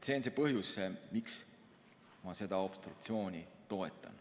See on põhjus, miks ma seda obstruktsiooni toetan.